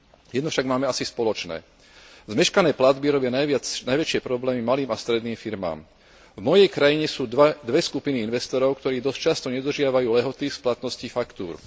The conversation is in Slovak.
Jedno však máme asi spoločné zmeškané platby robia najväčšie problémy malým a stredným firmám. V mojej krajine sú dve skupiny investorov, ktorí dosť často nedodržiavajú lehoty splatností faktúr.